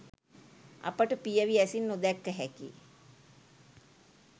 අපට පියවි ඇසින් නොදැක්ක හැකි